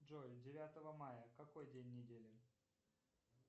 джой девятого мая какой день недели